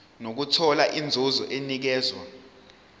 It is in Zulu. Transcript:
nokuthola inzuzo enikezwa